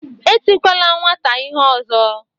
Etikwala nwata ihe ọzọ.